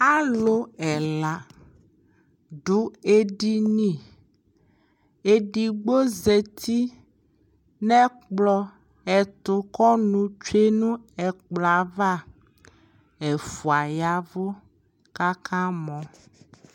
alʋ ɛla dʋ ɛdini, ɛdigbɔ zati nʋ ɛtʋ ɛkplɔ ɛtʋ kʋ ɔnʋ twɛnʋ ɛkplɔɛ aɣa, ɛƒʋa yavʋ kʋ aka mɔ